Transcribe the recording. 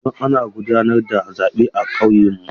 Yanzu ana gudanar da zaɓe a kauyenmu.